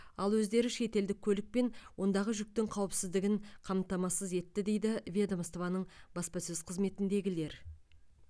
ал өздері штелдік көлік пен ондағы жүктің қауіпсіздігін қамтамасыз етті дейді ведомствоның баспасөз қызметіндегілер